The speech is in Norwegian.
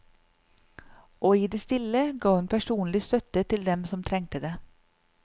Og i det stille ga hun personlig støtte til dem som trengte det.